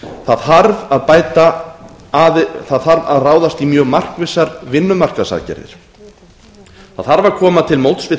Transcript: það þarf að ráðast í mjög markvissar vinnumarkaðsaðgerðir það þarf að koma til móts við